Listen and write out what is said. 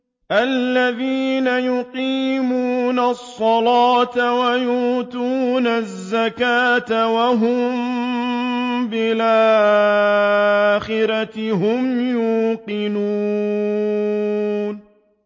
الَّذِينَ يُقِيمُونَ الصَّلَاةَ وَيُؤْتُونَ الزَّكَاةَ وَهُم بِالْآخِرَةِ هُمْ يُوقِنُونَ